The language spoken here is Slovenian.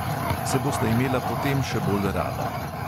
Se bosta imela potem še bolj rada.